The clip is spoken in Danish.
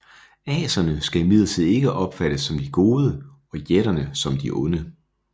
Aserne skal imidlertid ikke opfattes som de gode og jætterne som de onde